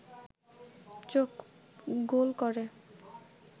চোখ গোল করে